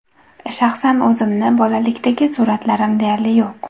Shaxsan o‘zimni bolalikdagi suratlarim deyarli yo‘q.